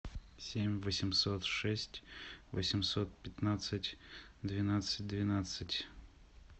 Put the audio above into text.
семь восемьсот шесть восемьсот пятнадцать двенадцать двенадцать